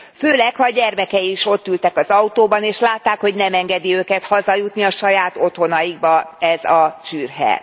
Főleg, ha a gyermekei is ott ültek az autóban és látták, hogy nem engedi őket hazajutni saját otthonaikba ez a csürhe.